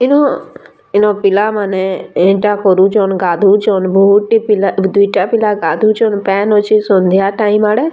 ଇନୁ ଇନୁ ପିଲାମାନେ ଏନ୍ତା କରୁଛନ୍‌ ଗାଧଉଛନ୍‌ ବହୁତ୍‌ ଟେ ପିଲା ଦୁଇଟା ପିଲା ଗାଧୁଛନ ପେନ୍‌ ଅଛେ ସନ୍ଧ୍ୟା ଟାଇମ ଆଡେ--